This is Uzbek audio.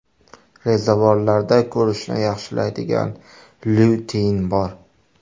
Rezavorlarda ko‘rishni yaxshilaydigan lyutein bor.